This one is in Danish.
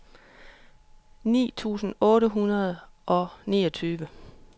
ni tusind otte hundrede og niogtyve